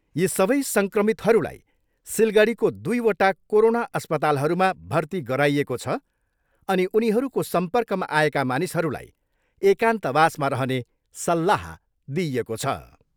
यी सबै सङ्क्रमितहरूलाई सिलगढीको दुईवटा कोरोना अस्पतालहरूमा भर्ती गराइएको छ अनि उनीहरूको सम्पर्कमा आएका मानिसहरूलाई एकान्तवासमा रहने सल्लाह दिइएको छ।